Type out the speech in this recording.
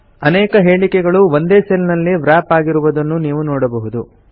ಅನೇಕ ಹೇಳಿಕೆಗಳು ಒಂದೇ ಸೆಲ್ ನಲ್ಲಿ ವ್ರಾಪ್ ಆಗಿರುವುದನ್ನು ನೀವು ನೋಡಬಹುದು